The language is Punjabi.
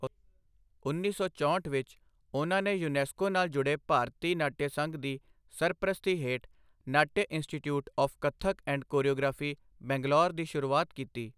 ਉੱਨੀ ਸੌ ਚੋਂਹਠ ਵਿੱਚ ਉਹਨਾਂ ਨੇ ਯੂਨੈਸਕੋ ਨਾਲ ਜੁੜੇ ਭਾਰਤੀ ਨਾਟਯ ਸੰਘ ਦੀ ਸਰਪ੍ਰਸਤੀ ਹੇਠ Natya institute of Kathak and choreography, Bangalore ਦੀ ਸ਼ੁਰੂਆਤ ਕੀਤੀ।